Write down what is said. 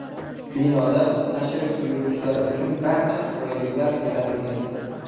Binoda tashrif buyuruvchilar uchun barcha qulayliklar yaratilgan.